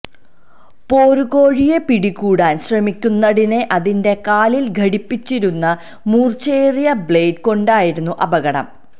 പോരുകോഴിയെ പിടികൂടാന് ശ്രമിക്കുന്നതിനിടെ അതിന്റെ കാലില് ഘടിപ്പിച്ചിരുന്ന മൂര്ച്ചയേറിയെ ബ്ലേഡ് കൊണ്ടായിരുന്നു അപകടം